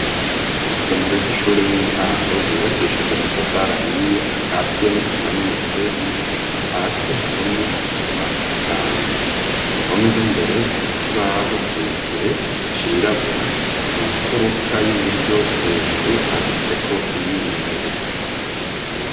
Isomero ry'ishure y'intango ryubakishije amatafari ahiye akatiye n'isima n'umusenyi, hasi hahomye isima isanzwe, ku ruhome rw'imbere hari kibaho kirekire cirabura, mu mfuruka y'uburyo hejuru handitseko imyimenyerezo.